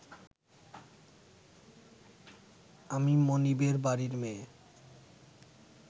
আমি মনিবের বাড়ির মেয়ে